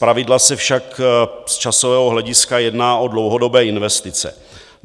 Zpravidla se však z časového hlediska jedná o dlouhodobé investice.